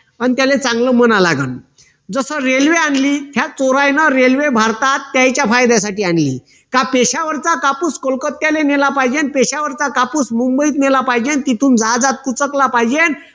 पण त्याला चांगलं म्हणा लागन जस रेल्वे आणली त्या चोरांना रेल्वे भारतात त्यांच्या फायद्यासाठी आणली का पेशावरचा कापूस कोलकत्याने नेला पाहिजेल पेशावरचा कापूस मुंबईला नेला पाहिजेल आणि तिथून जहाजात पाहिजे